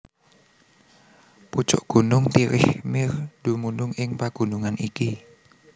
Pucuk gunung Tirich Mir dumunung ing pagunungan iki